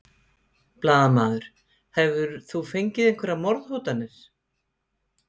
Blaðamaður: Hefur þú fengið einhverjar morðhótanir?